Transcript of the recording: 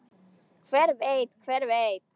Hver veit, hver veit.